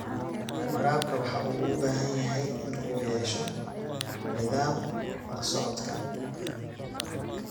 Waraabka waxa uu u baahan yahay in uu yeesho nidaam la socodka.